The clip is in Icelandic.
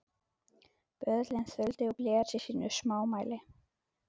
Böðullinn þuldi og blés í sínu smámæli: